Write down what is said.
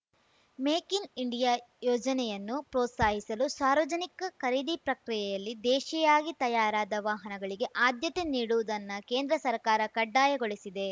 make in India ಯೋಜನೆಯನ್ನು ಪ್ರೋತ್ಸಾಹಿಸಲು ಸಾರ್ವಜನಿಕ ಖರೀದಿ ಪ್ರಕ್ರಿಯೆಯಲ್ಲಿ ದೇಶೀಯಾಗಿ ತಯಾರಾದ ವಾಹನಗಳಿಗೆ ಆದ್ಯತೆ ನೀಡುವುದನ್ನ ಕೇಂದ್ರ ಸರ್ಕಾರ ಕಡ್ಡಾಯಗೊಳಿಸಿದೆ